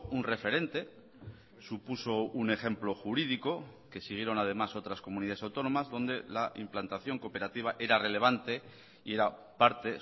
un referente supuso un ejemplo jurídico que siguieron además otras comunidades autónomas donde la implantación cooperativa era relevante y era parte